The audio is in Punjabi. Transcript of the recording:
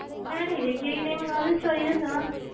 ਮੈਂ ਨੀ ਵੇਖੀ ਹੋਈ ਤੁਸੀਂ ਮੈਨੂੰ ਉਹਦੀ story ਦੱਸੋ,